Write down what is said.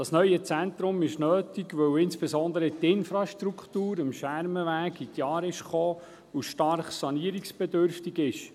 Das neue Zentrum ist nötig, weil insbesondere die Infrastruktur am Schermenweg in die Jahre gekommen ist und stark sanierungsbedürftig ist.